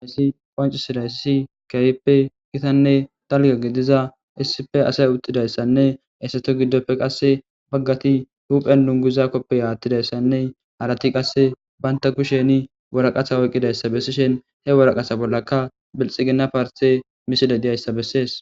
Hayssi qoancu sidaysisi kayippe gitanne talga gediza issife asay uttidayssanne essato giddopfe qasse baggati huphen nunguza koppe yaattidayssanne harati qasse banta kusheni wuraqatha oyqqidayssa bessishen he woraqasa bollaka bilxi ginna parte misile diyayssa bessees